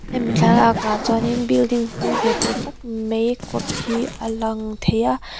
hemi thlalakah chuan in building hlui ve tawh tak mai kawt hi a lang thei a.